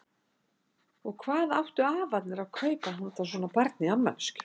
Og hvað áttu afarnir að kaupa handa svona barni í afmælisgjöf?